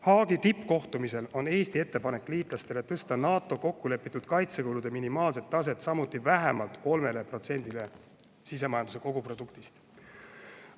Haagi tippkohtumisel on Eesti ettepanek liitlastele tõsta NATO-s kokkulepitud kaitsekulude minimaalset taset samuti 3%-le sisemajanduse koguproduktist.